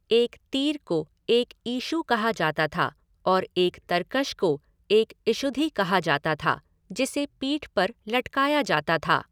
एक तीर को एक ईशु कहा जाता था और एक तरकश को एक इशुधि कहा जाता था, जिसे पीठ पर लटकाया जाता था।